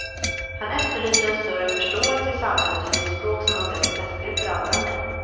Han efterlyser en större förståelse i samhället för det språk som unga protestgrupper använder.